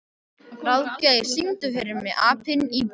Ráðgeir, syngdu fyrir mig „Apinn í búrinu“.